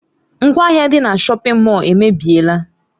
Ngwaahịa dị na shọpin Mọll emebiela.